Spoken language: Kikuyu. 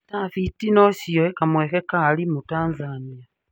Tabit nocioe kamweke ka arimũ Tanzania?